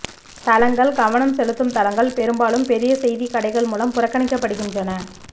தளங்கள் கவனம் செலுத்தும் தளங்கள் பெரும்பாலும் பெரிய செய்தி கடைகள் மூலம் புறக்கணிக்கப்படுகின்றன